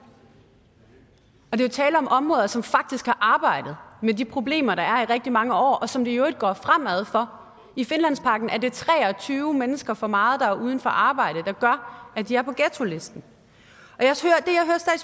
er jo tale om områder som faktisk har arbejdet med de problemer der er i rigtig mange år og som det i øvrigt går fremad for i finlandsparken er det tre og tyve mennesker for meget der er uden arbejde der gør at de er på ghettolisten